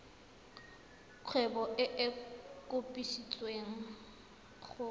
kgwebo e e kopetswengcc go